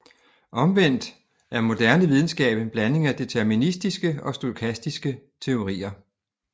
Omvendt er moderne videnskab en blanding af deterministiske og stokastiske teorier